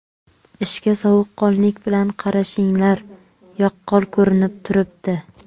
Ishga sovuqqonlik bilan qarashinglar yaqqol ko‘rinib turibdi.